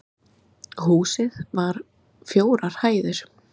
Húsið var fjórar hæðir